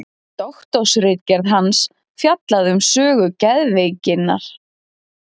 Doktorsritgerð hans fjallaði um sögu geðveikinnar.